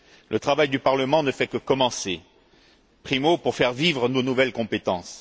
Le travail du Parlement ne fait que commencer. Primo, pour faire vivre nos nouvelles compétences.